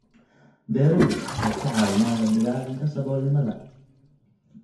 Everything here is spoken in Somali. Beeruhu waxay ka caawiyaan la dagaallanka saboolnimada.